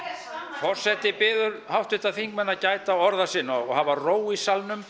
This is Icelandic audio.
forseti biður háttvirtan þingmann að gæta orða sinna og hafa ró í salnum